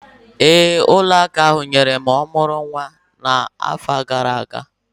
Ee, ụlọ akụ ahụ nyere m ọmụrụ nwa n'afọ gara aga